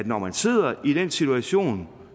når man sidder i den situation